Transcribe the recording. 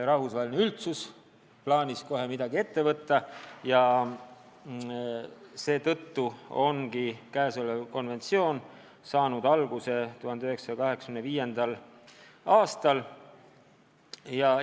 Rahvusvaheline üldsus otsustas kohe midagi ette võtta ja seetõttu koostatigi 1985. aastal see konventsioon.